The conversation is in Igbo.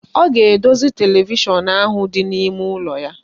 Ọ ga-edozi televishọn ahụ dị n'ime ụlọ ya.